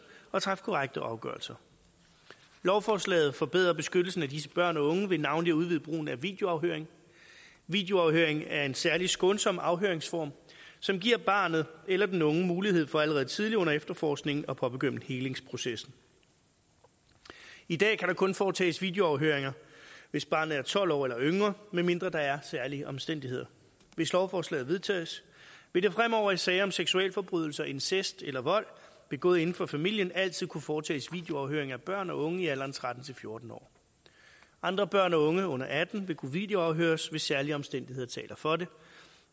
og træffe korrekte afgørelser lovforslaget forbedrer beskyttelsen af disse børn og unge ved navnlig at udvide brugen af videoafhøring videoafhøring er en særlig skånsom afhøringsform som giver barnet eller den unge mulighed for allerede tidligt under efterforskningen at påbegynde helingsprocessen i dag kan der kun foretages videoafhøringer hvis barnet er tolv år eller yngre medmindre der er særlige omstændigheder hvis lovforslaget vedtages vil der fremover i sager om seksualforbrydelser incest eller vold begået inden for familien altid kunne foretages videoafhøring af børn og unge i alderen tretten til fjorten år andre børn og unge under atten vil kunne videoafhøres hvis særlige omstændigheder taler for det